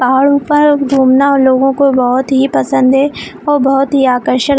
पहाड़ ऊपर घूमना लोगों को बहोत ही पसंद है और बहोत ही आकर्षक--